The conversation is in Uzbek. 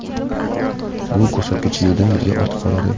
Bu ko‘rsatkich yildan-yilga ortib boradi.